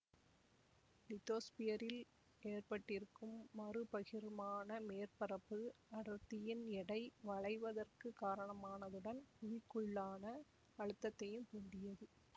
லித்தோஸ்பியரில் ஏற்றப்பட்டிருக்கும் மறுபகிர்மான மேற்பரப்பு அடர்த்தியின் எடை வளைவதற்கு காரணமானதுடன் புவிக்குள்ளான அழுத்தத்தையும் தூண்டியது